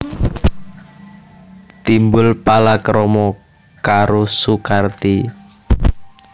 Timbul palakrama karo Sukarti